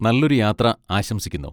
നല്ലൊരു യാത്ര ആശംസിക്കുന്നു.